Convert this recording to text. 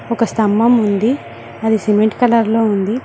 ఒక స్తంభం ఉంది అది సిమెంట్ కలర్ లో ఉంది.